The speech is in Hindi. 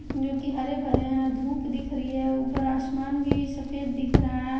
जो कि हरे भरे हैं भूख दिख रही है ऊपर आसमान भी सफेद दिख रहा है।